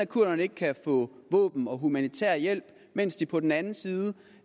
kurderne ikke kan få våben og humanitær hjælp mens de på den anden side